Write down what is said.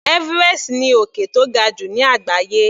Everest ni òkè tó ga jù ní àgbáyé.